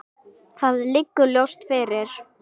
Það liggur ljóst fyrir.